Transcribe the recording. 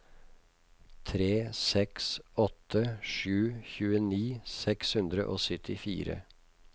tre seks åtte sju tjueni seks hundre og syttifire